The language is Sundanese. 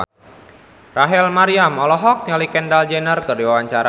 Rachel Maryam olohok ningali Kendall Jenner keur diwawancara